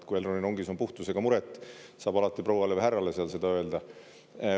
Kui Elroni rongis puhtusega muret, saab alati prouale või härrale seal seda öelda.